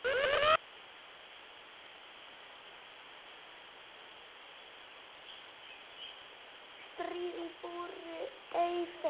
Stirð í brú ei fer.